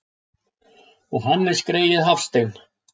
Og Hannes greyið Hafstein!